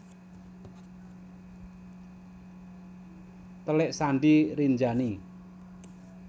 Telik Sandi Rinjani